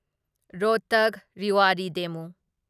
Rohtak Rewari ꯗꯦꯃꯨ